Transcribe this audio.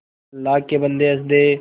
अल्लाह के बन्दे हंस दे